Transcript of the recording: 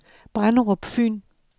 Brenderup Fyn